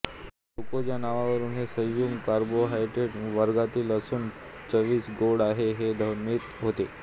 glucose या नावावरून हे संयुग कार्बोहायड्रेट वर्गातील असून चवीस गोड आहे हे ध्वनित होते